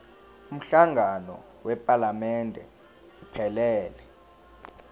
umhlangano wephalamende iphelele